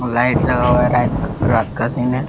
Light लगा हुआ है रात का सीन है।